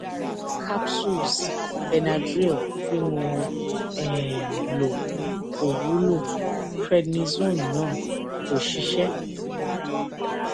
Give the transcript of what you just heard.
awọn capsules benadryl tí mo um lò kò wúlò prednisone náà kò ṣiṣẹ